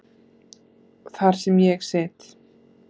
Þar sem ég sit.